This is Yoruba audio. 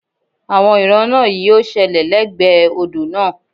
Àwọn ìran náà yí ó ṣẹlẹ̀ lẹ́gbẹ̀ẹ́ odò náà